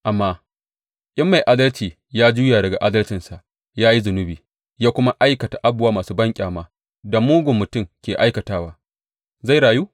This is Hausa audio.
Amma in mai adalci ya juya daga adalcinsa ya yi zunubi ya kuma aikata abubuwa masu banƙyamar da mugun mutum ke aikatawa, zai rayu?